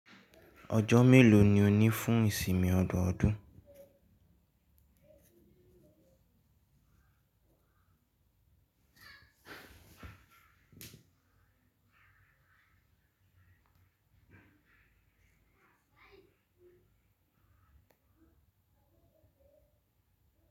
Ọjọ́ mélòó ni ó ní fún ìsinmi ọdọọdún?